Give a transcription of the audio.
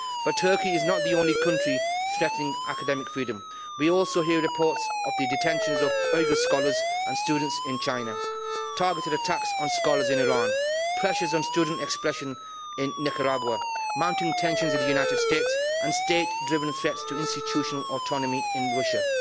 But Turkey is not the only country threatening academic freedom, we also hear reports of the detentions of Uighur scholars and students in China, targeted attacks on scholars in Iran, pressures on student expression in Nicaragua, mounting tensions in the United States and state driven threats to institutional autonomy in Russia.